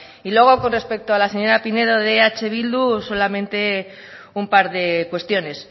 y luego con respecto a la señora pinedo de eh bildu solamente un par de cuestiones